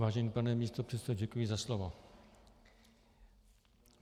Vážený pane místopředsedo, děkuji za slovo.